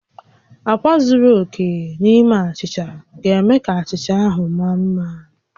Akwa zuru oke n'ime achicha ga-eme ka achicha ahụ mara mma